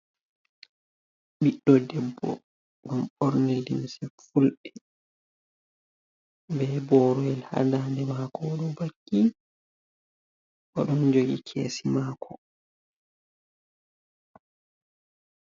Ɓiɗɗo debbo. O ɓorni limse fulɓe. Be boroyel haa dande maako o ɗo vakki. O ɗon jogi kesi maako.